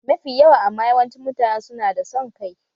Mafi yawa amma yawancin mutane su na da son kai